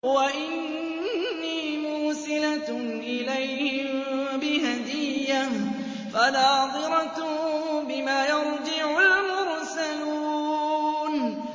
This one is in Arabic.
وَإِنِّي مُرْسِلَةٌ إِلَيْهِم بِهَدِيَّةٍ فَنَاظِرَةٌ بِمَ يَرْجِعُ الْمُرْسَلُونَ